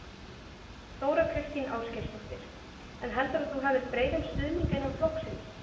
Þóra Kristín Ásgeirsdóttir: En heldurðu að þú hafir breiðan stuðning innan flokksins?